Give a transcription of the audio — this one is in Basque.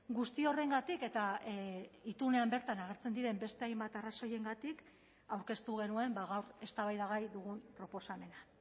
guzti horrengatik eta itunean bertan agertzen diren beste hainbat arrazoiengatik aurkeztu genuen gaur eztabaidagai dugun proposamena